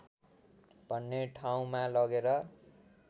भन्ने ठाउँमा लगेर